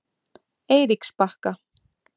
Eiríksbakka